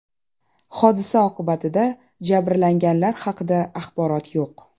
Hodisa oqibatida jabrlanganlar haqida axborot yo‘q.